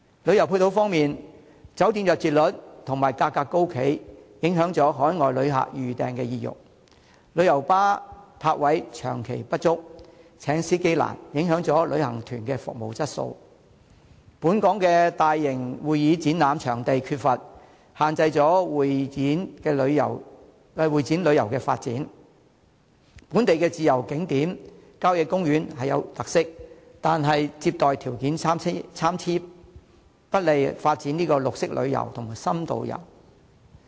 旅遊配套方面，酒店入住率和價格高企，影響海外旅客預訂意欲；旅遊巴泊位長期不足，難以聘請司機，影響旅行團的服務質素；本港缺乏大型會議展覽場地，限制會展旅遊的發展；本地自然景點和郊野公園富有特色，但接待條件參差，不利發展綠色旅遊和深度遊。